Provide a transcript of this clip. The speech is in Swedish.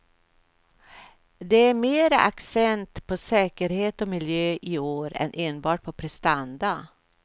Det är mer accent på säkerhet och miljö i år, än enbart på prestanda.